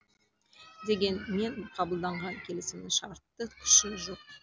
дегенмен қабылданған келісімнің шартты күші жоқ